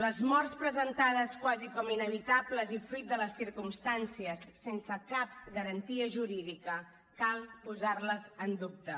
les morts presentades quasi com inevitables i fruit de les circumstàncies sense cap garantia jurídica cal posar les en dubte